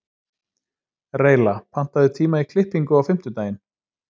Reyla, pantaðu tíma í klippingu á fimmtudaginn.